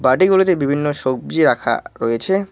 বাটিগুলোতে বিভিন্ন সবজি রাখা রয়েছে।